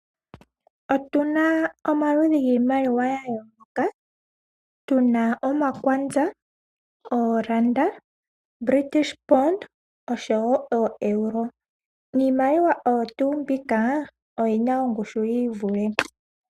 Otu na omaludhi giimaliwa yayooloka, tu na omakwanza, Oolanda, British pound oshowo ooEuro. Iimaliwa oyo tuu mbika oyi na ongushu ya yii vule.